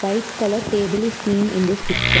White colour table is seen in this picture.